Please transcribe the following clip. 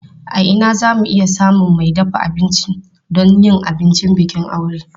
A ina za mu iya samun mai dafa abinci don yin abincin bikin aure?